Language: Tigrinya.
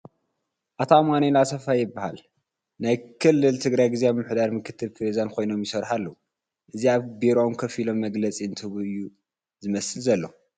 ኣቶ ኣማኒኤለ ኣሰፋ የበሃሉ ናይ ከለለ ትግራይ ግዝያዊ ምምሕዳር ምክትል ፕረዚደን ኾይኖም ይሰርሑ አለዉ ፡ እዚ ኣብ ቢሮኦም ኮፍ ኢሎም መግለፂ እንትህቡ እዩ ዝመስል ዘሎ ።